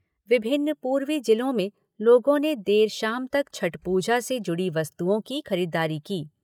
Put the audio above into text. विभिन्न पूर्वी जिलों में लोगों ने देर शाम तक छठ पूजा से जुड़ी वस्तुओं की खरीदारी की।